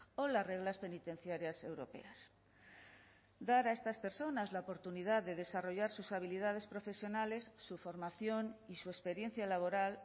o las reglas penitenciarias europeas dar a estas personas la oportunidad de desarrollar sus habilidades profesionales su formación y su experiencia laboral